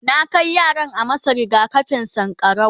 na Kai yaran a masu rigakafin sankarau